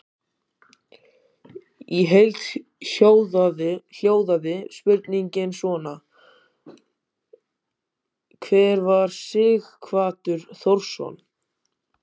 Í heild hljóðaði spurningin svona: Hver var Sighvatur Þórðarson?